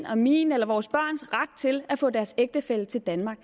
og min eller vores børns ret til at få deres ægtefælle til danmark